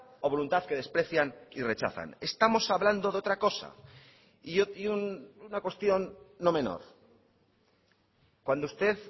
o voluntad que desprecian y rechazan estamos hablando de otra cosa y una cuestión no menor cuando usted